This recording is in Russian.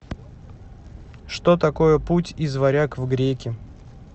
что такое путь из варяг в греки